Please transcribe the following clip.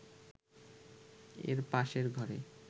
এর পাশের ঘরে